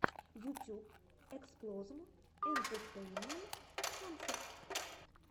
ютюб эксплозм энтетейнмент концерт